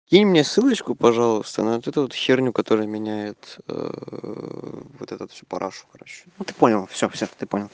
скинь мне ссылочку пожалуйста на этот херню которая меняет вот этот в парашу хорошо понял всё всё